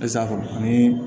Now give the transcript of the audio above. Esa faamu ani